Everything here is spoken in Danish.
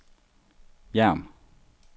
Hjerm